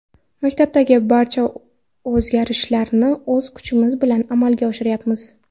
Maktabdagi barcha o‘zgarishlarni o‘z kuchimiz bilan amalga oshiryapmiz.